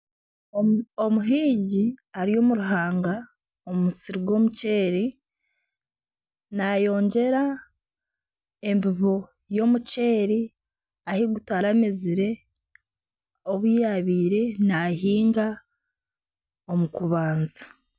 Omuhingi ari omu ruhanga omu musiri gw'omuceeri nayongyera embibo y'omuceeri ahu gutaramezire obu yabaire nahinga omu kubanza.